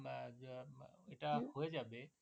আহ যা এটা হয়ে যাবে